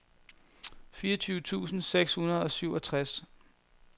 fireogtyve tusind seks hundrede og syvogtres